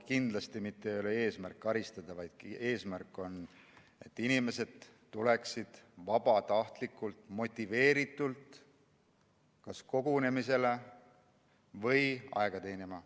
Kindlasti ei ole eesmärk karistada, vaid eesmärk on, et inimesed tuleksid vabatahtlikult, motiveeritult kas kogunemisele või aega teenima.